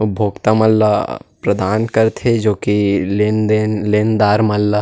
उपभोक्ता मन ल प्रदान करथे जो की लेनदार मन ल--